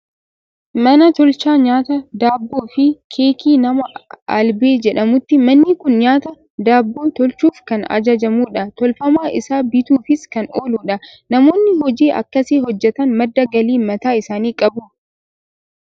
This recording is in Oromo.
Mana tolchaa nyaata Daabboo fi keekii nama Alebee jedhamuuti. Manni kun nyaata daabboo tolchuuf kan ajajamudha. Tolfamaa isaa bituufis kan ooludha. Namoonni hojii akkasii hojjetan madda galii mataa isaanii qabu.